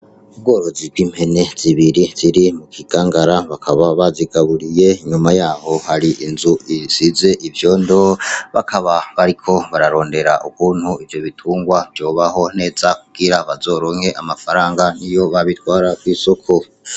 Ubgorozi bg'impene zibiri mu kigangara bakaba bazigaburiye nyuma yaho hari inzu isize ivyondo bakaba bariko bararondera ukuntu ivyo bitungwa vyobaho neza kugira bazoronke amafaranga niyo bazitwara kwisoko.